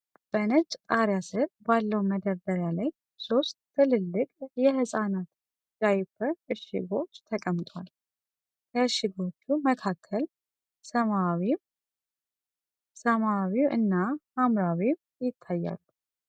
በነጭ ጣሪያ ስር ባለው መደርደሪያ ላይ ሶስት ትልልቅ የህፃናት ዳይፐር እሽጎች ተቀምጠዋል። ከእሽጎቹ መካከል ሰማያዊው 'Dr.S'፣ ሰማያዊው 'goodbaby' እና ሀምራዊው 'Canbebe' ይታያሉ።